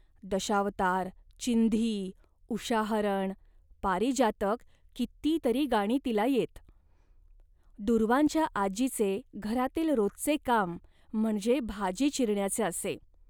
दशावतार, चिंधी, उषाहरण, पारिजातक किती तरी गाणी तिला येत. दूर्वांच्या आजीचे घरातील रोजचे काम म्हणजे भाजी चिरण्याचे असे